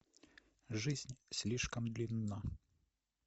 жизнь слишком длинна